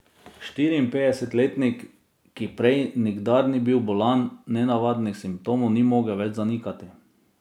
Štiriinpetdesetletnik, ki prej nikdar ni bil bolan, nenavadnih simptomov ni mogel več zanikati.